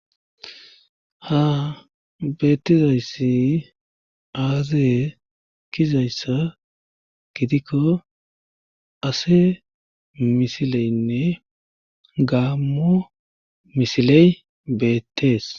ha beettizayssi aazee kizayssa gidikko ase misileynne gaammo misiley beettees